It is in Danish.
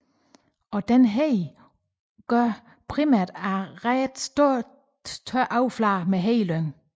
Også denne hede udgøres primært af store ret tørre flader med hedelyng